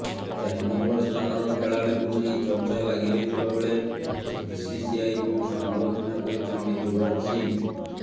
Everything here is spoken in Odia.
ଚାରି ନମ୍ବର ସ୍ଥାନର ଖେଳାଳିଙ୍କୁ ନେଇ ଚର୍ଚ୍ଚା ଲାଗି ରହିଥିବା ବେଳେ ବିସିସିଆଇକୁ ସମାଲୋଚନା କରିଛନ୍ତି ଯୁବରାଜ ସିଂହ